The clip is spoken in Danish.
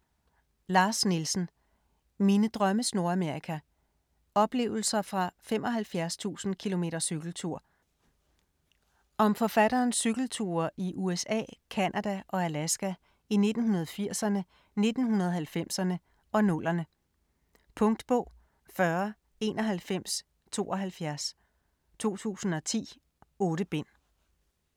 Nielsen, Lars: Mine drømmes Nordamerika: oplevelser fra 75.000 km cykeltur Om forfatterens cykelture i USA, Canada og Alaska i 1980'erne, 1990'erne og 2000'erne. Punktbog 409172 2010. 8 bind.